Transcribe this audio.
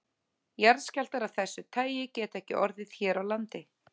Jarðskjálftar af þessu tagi geta ekki orðið hér á landi.